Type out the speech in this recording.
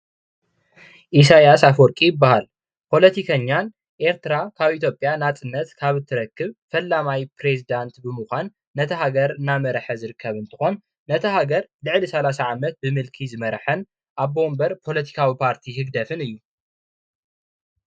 ኢሳያስ ኣፎወርወቂ ይበሃል ።ፓለቲኛን ኤርትራ ብፍላይ ድሕሪ ናፅነት ምርካባ ነፃ ሃገር ምስ ኮነት ጀሚሩ ናያታ ሃገር መራሒ ኾይኑ ይቅፅል ኣሎ።